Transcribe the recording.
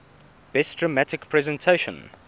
best dramatic presentation